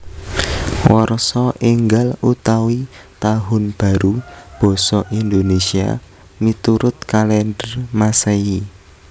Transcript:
Warsa Ènggal utawi Tahun Baru basa Indonésia miturut kalèndher Masèhi